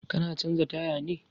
Ka na canza taya ne?